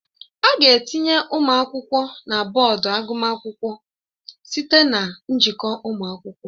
A ga-etinye ụmụ akwụkwọ na bọọdụ agụmakwụkwọ site na njikọ ụmụ akwụkwọ